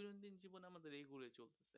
দেখবেন